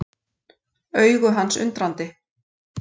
Augu hans undrandi.